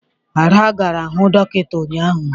Ada gara hụ dọkịta ụnyaahụ.